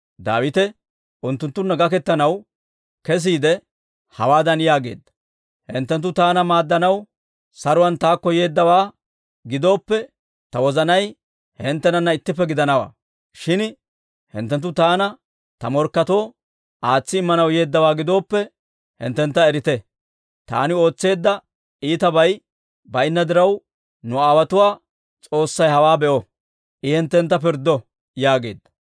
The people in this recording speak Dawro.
Daawite unttunttunna gaketanaw kesiide, hawaadan yaageedda; «Hinttenttu taana maaddanaw saruwaan taakko yeeddawaa gidooppe, ta wozanay hinttenana ittippe gidanawaa. Shin hinttenttu taana ta morkketoo aatsi immanaw yeeddawaa gidooppe, hinttentta erite! Taani ootseedda iitabay baynna diraw, nu aawotuwaa S'oossay hewaa be'o; I hinttentta pirddo!» yaageedda.